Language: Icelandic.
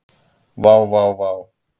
Vá vá vá.